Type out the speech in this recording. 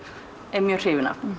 er mjög hrifin af